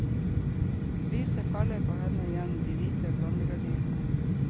Lyset faller på henne gjennom de hvite blondegardinene.